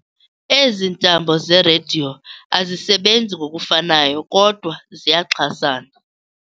Ezi ntambo zerediyo azisebenzi ngokufanayo kodwa ziyaxhasana.